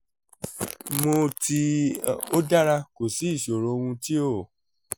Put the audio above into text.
mo ti o dara ko si isoro ohun ti o